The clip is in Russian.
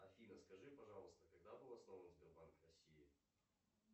афина скажи пожалуйста когда был основан сбербанк россии